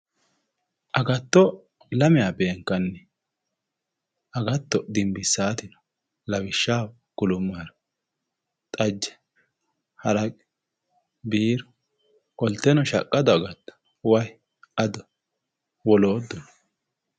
Agatto lamewa beenkani agatto dinbisawoti no lawishaho kulumoro xajje haraqqe biiru qolteno shaqado agatto wayi addo wolootuno